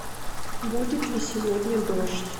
будет ли сегодня дождь